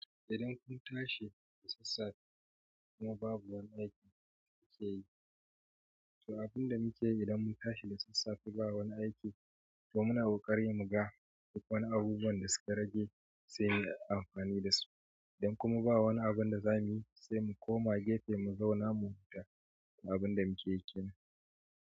Idan kun tashi da sassafe kuma babu wani aiki kuke yi, to abin da muke yi idan mun tashi da sassafe ba wani aiki, to muna kokarin muga duk wani abubuwan da suka rage sai mu yi amfani da su. Idan kuma ba wani abin da za mu yi sai mu koma gafe mu zauna mu huta abun da muke yake yi kenan.